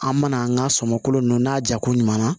An mana an ka sɔmɔ kolo ninnu n'a jako ɲuman na